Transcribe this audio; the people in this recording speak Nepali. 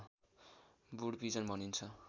वुड पिजन भनिन्छ